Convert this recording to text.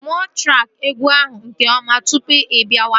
Mụọ traki egwu ahụ nke ọma tụpụ ibiawa